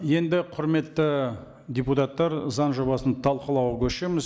енді құрметті депутаттар заң жобасын талқылауға көшеміз